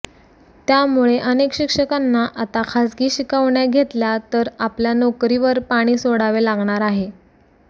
त्यामुळे अनेक शिक्षकांना आता खासगी शिकवण्या घेतल्या तर आपल्या नोकरीवर पाणी सोडावे लागणार आहे